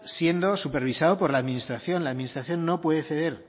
siendo supervisado por la administración la administración no puede ceder